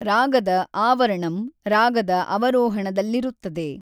ರಾಗದ ಆವರಣಂ ರಾಗದ ಅವರೋಹಣದಲ್ಲಿರುತ್ತದೆ.